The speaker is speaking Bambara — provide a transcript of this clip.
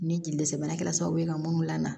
Ni jeli dɛsɛ bana kɛra sababu ye ka minnu lamɛn